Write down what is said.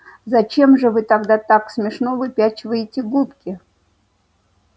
зачем же вы тогда так смешно выпячиваете губки